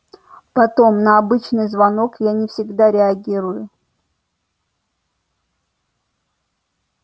потом на обычный звонок я не всегда реагирую